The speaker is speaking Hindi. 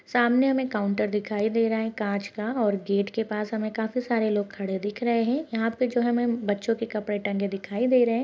सामने हमे काउंटर दिखाई दे रहा है काँच का और गेट के पास हमे काफी सारे लोग खड़े दिख रहे हैं यहाँ पे जो हमे बच्चों के कपड़े टंगे दिखाई दे रहे हैं।